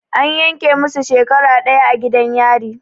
An yanke musu shekara ɗaya a gidan yari.